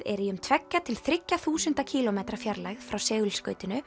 er í um tveggja til þriggja þúsunda kílómetra fjarlægð frá